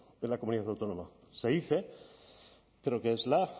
en la comunidad autónoma se dice creo que es la